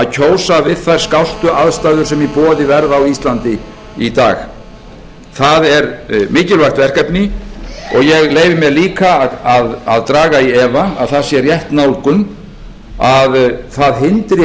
kjósa við þær skástu aðstæður sem í boði verða á íslandi í dag það er mikilvægt verkefni og ég leyfi mér líka að draga í efa að það sé rétt nálgun að það hindri